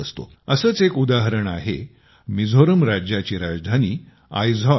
असेच एक उदाहरण आहे मिझोरम राज्याची राजधानी आईजवालचे